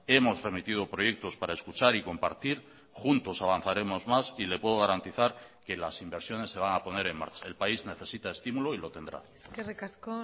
hemos remitido proyectos para escuchar y compartir juntos avanzaremos más y le puedo garantizar que las inversiones se van a poner en marcha el país necesita estímulo y lo tendrá eskerrik asko